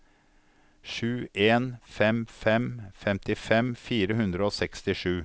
sju en fem fem femtifem fire hundre og sekstisju